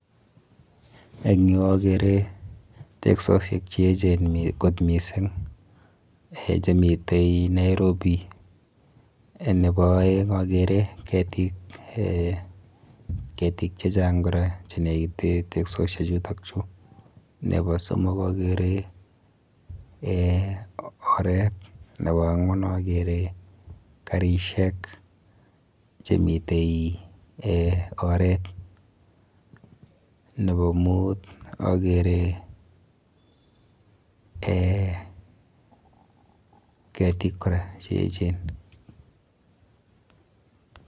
Eng yu akere teksosiek cheechen kot mising eh chemite Nairobi. Nepo aeng akere ketik eh ketik chechang kora chenekite teksosiechutokchu . Nepo somok akere eh oret. Nepo ang'wan akere karishek chemite eh oret. Nepo mut akere eh kitik kora cheechen.